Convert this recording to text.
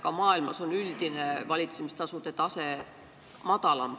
Ka maailmas on üldine valitsemistasude tase madalam.